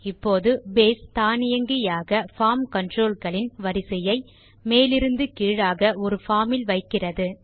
இப்போது பேஸ் தானியங்கியாக form control களின் வரிசையை மேலிருந்து கீழாக ஒரு பார்ம் இல் வைக்கிறது